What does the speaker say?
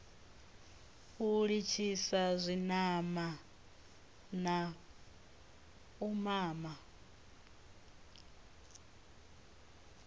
u litshisa zwinamana u mama